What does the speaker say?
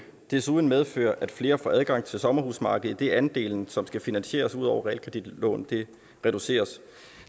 desuden medføre at flere får adgang til sommerhusmarkedet idet andelen som skal finansieres ud over realkreditlån reduceres